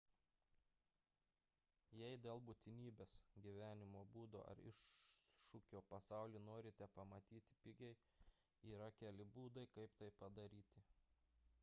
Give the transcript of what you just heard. jei dėl būtinybės gyvenimo būdo ar iššūkio pasaulį norite pamatyti pigiai yra keli būdai kaip tai padaryti